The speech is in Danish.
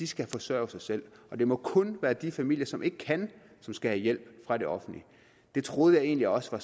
skal forsørge sig selv det må kun være de familier som ikke kan som skal have hjælp fra det offentlige det troede jeg egentlig også var